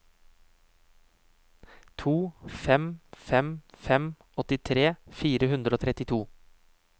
to fem fem fem åttitre fire hundre og trettito